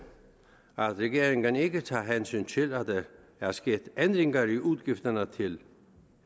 at regeringen ikke tager hensyn til at der er sket ændringer i udgifterne til